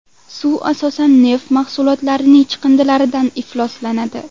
Suv asosan neft mahsulotlarining chiqindilaridan ifloslanadi.